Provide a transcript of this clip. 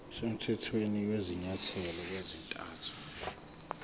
semthethweni kwezinyathelo ezathathwa